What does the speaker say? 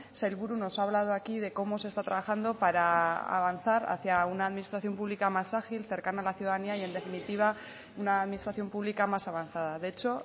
sailburu nos ha hablado aquí de cómo se está trabajando para avanzar hacia una administración pública más ágil cercana a la ciudadanía y en definitiva una administración pública más avanzada de hecho